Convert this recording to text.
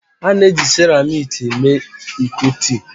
A na-eji seramiiki mee iko tii